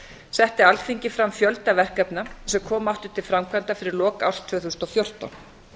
setti alþingi fram fjölda verkefna sem koma áttu til framkvæmda fyrir lok árs tvö þúsund og fjórtán